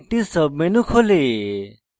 একটি submenu খোলে